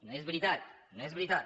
no és veritat no és veritat